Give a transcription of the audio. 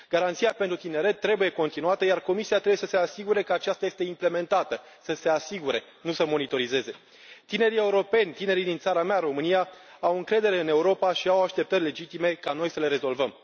Garanția pentru tineret trebuie continuată, iar Comisia trebuie să se asigure că aceasta este implementată să se asigure, nu să monitorizeze. Tinerii europeni, tinerii din țara mea, România, au încredere în Europa și au așteptări legitime ca noi să le rezolvăm.